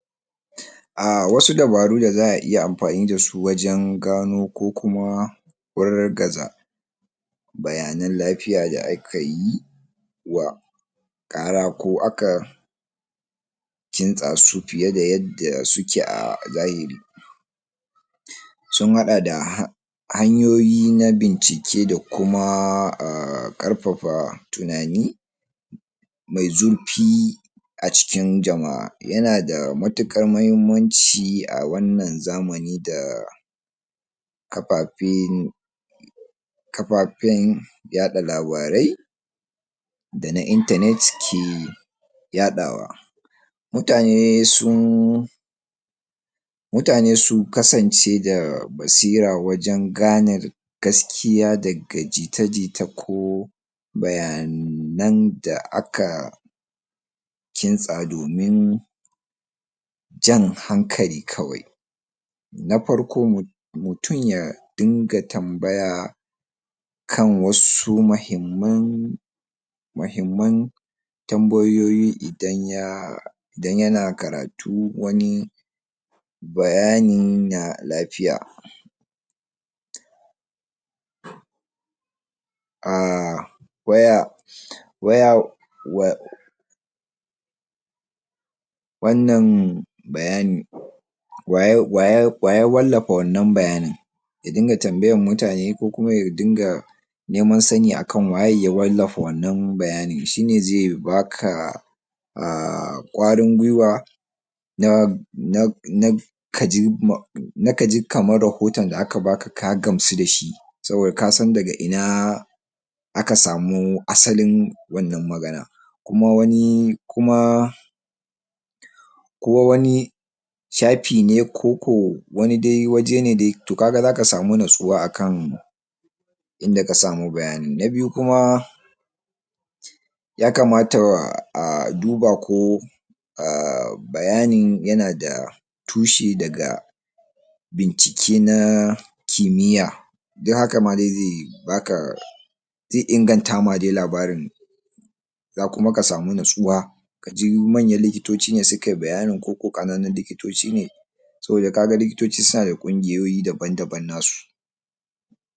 dabaru dan gano wa da ƙaryata labaran dake kwantar da had hadarin lafiya duba taushi da sahihan labarai duba dag inda labarin ya pito ko daga kafar watsa labarai ce me suna ko shahararriyar ƙungiya kamar ko maikatan lafiya na kasa idan daga shafin yanar gizo ne ko kafar watsa labarai marar ingancin yin hankali kwantata labari daga wurare masu amana kwantata labarin daga kafafen labarai daban daban kowani shahararren kafarwatsa labarai yana bayyana irin wannan labari acikin labarin shi ankawo hujjoji na kimiyya da masaan lafiya na uku karanta daga farko har gaba karanta labarin cikin cikeken tsari ba kawai kantake ba wasu kafafen labarai suna anfani da masu tayar da hankali dan jawo hankali masu karatu karanta cikekkiyan labari kafin ka yanke hukunci tuntuba masana lafiya da ga farun hukuma lokacin da ake samer labari me tayar da hankali tuntuba masana lafiya ko hukumomin lafiya kamar asibitoci ƙungiyoyi na lafiya ko likitoci domin samun cike kiyan bayani kan gaskiyan al'amari guji yadda jita jita kada ayarda labari batare da bincika ba idan an samu labari daga aboki ko shahararren mutun ka tabbata daga ko ina kafan ka yadda shi yada mutane da al'uma zasu iya inganta tunani me kyau ga ilimin kafafen watsa labarai ƙarfafa ilimin kafafan watsa labarai wayarka wayar da kan jama'[um] wayar da kan jama'a gameda yanda kafafen watsa labarai ke aiki da yadda ake fitar da labaran meyasa ake zabar wani labari tayaya ake tallata labari ko kayan talla menene banbancin tsakanin labarin gask iya da ra'ayi ko jita jita na biyu koyad da ingantaccen tu tunanin nazari koyad da yara da manya yanda zas duba labari da hankali tareda tambayar mesa wannan yake faruwa wannan labari yanada tushe ko yanada shi shauɗi ƙarfafa su suyi tambayoyi kamar shi, wannan yana dacewa da sauran bayanai